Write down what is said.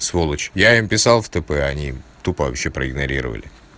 сволочь я им писал в тп они тупо вообще проигнорировали